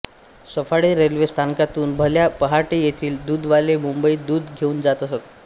Saphale railway स्थानकातून भल्या पहाटे येथील दुधवाले मुंबईत दूध घेऊन जात असत